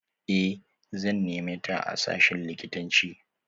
Eh, zan neme ta a sashin likitanci.